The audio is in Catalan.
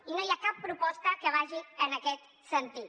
i no hi ha cap proposta que vagi en aquest sentit